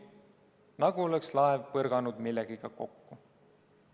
Nagu oleks laev põrganud millegagi kokku.